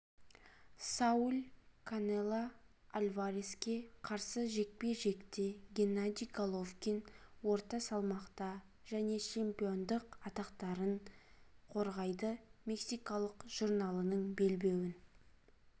сауль канело альвареске қарсы жекпе-жекте геннадий головкин орта салмақта және чемпиондық атақтарын қорғайды мексикалық журналының белбеуін